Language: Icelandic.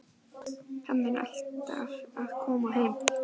Hann er alltaf að koma heim.